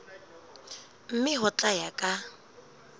mme ho tla ya ka